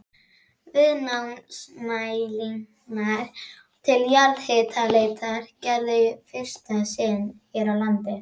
Viðnámsmælingar til jarðhitaleitar gerðar í fyrsta sinn hér á landi.